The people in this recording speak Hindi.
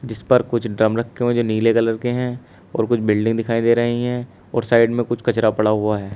जिस पर कुछ ड्रम रखे हुए हैं जो नीले कलर के हैं और कुछ बिल्डिंग दिखाई दे रही हैं और साइड में कुछ कचरा पड़ा हुआ है।